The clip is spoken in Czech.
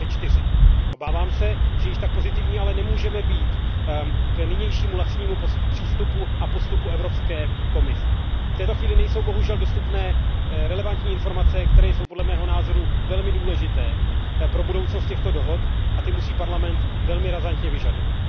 2004. Obávám se, že již tak pozitivní ale nemůžeme být k nynějšímu laxnímu přístupu a postupu Evropské komise. V této chvíli nejsou bohužel dostupné relevantní informace, které jsou podle mého názoru velmi důležité pro budoucnost těchto dohod, a ty musí Evropský parlament velmi razantně vyžadovat.